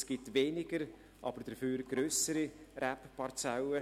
Es gibt weniger, aber dafür grössere Rebparzellen.